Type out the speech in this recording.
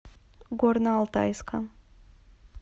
горно алтайска